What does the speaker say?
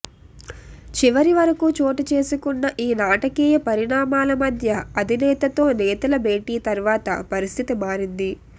చివరివరకూ చోటుచేసుకున్న ఈ నాటకీయ పరిణామాల మధ్య అధినేతతో నేతల భేటీ తర్వాత పరిస్థితి మారింది